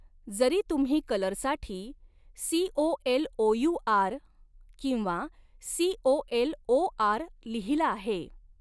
जरी तुम्ही कलरसाठी सीओएलओयूआर किंवा सीओएलओआर लिहिला आहे.